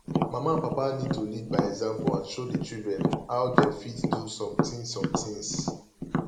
mama and papa need to lead by example and show di children how dem fit do some things some things